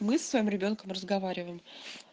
мы со своим ребёнком разговариваем